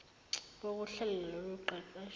bokuhlela lolu qeqesho